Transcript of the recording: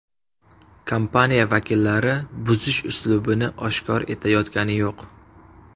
Kompaniya vakillari buzish uslubini oshkor etayotgani yo‘q.